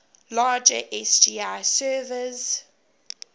larger sgi servers